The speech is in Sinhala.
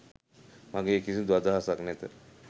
මගේ කිසිදු අදහසක් නැත.